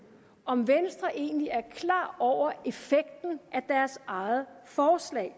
om venstre egentlig er klar over effekten af deres eget forslag